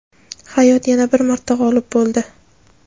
Hayot yana bir marta g‘olib bo‘ldi.